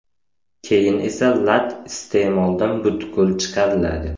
Keyin esa lat iste’moldan butkul chiqariladi.